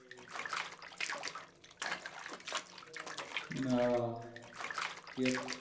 आह एक